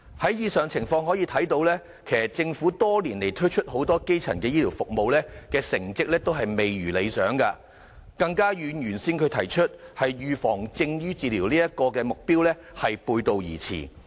從以上情況可以看到，政府多年來推行很多基層醫療服務的成績都未如理想，更與最初提出"預防勝於治療"的目標背道而馳。